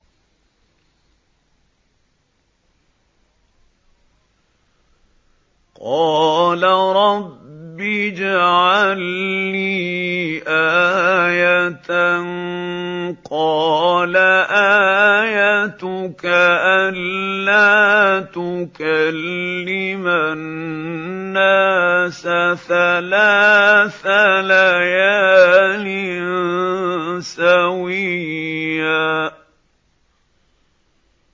قَالَ رَبِّ اجْعَل لِّي آيَةً ۚ قَالَ آيَتُكَ أَلَّا تُكَلِّمَ النَّاسَ ثَلَاثَ لَيَالٍ سَوِيًّا